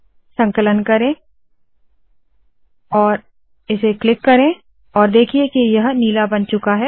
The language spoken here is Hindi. संकलन करे और इसे क्लिक करे और देखिए के यह नीला बन चूका है